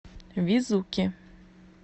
везуки